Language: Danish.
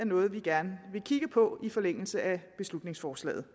noget vi gerne vil kigge på i forlængelse af beslutningsforslaget